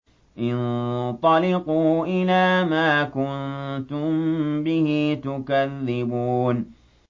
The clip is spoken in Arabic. انطَلِقُوا إِلَىٰ مَا كُنتُم بِهِ تُكَذِّبُونَ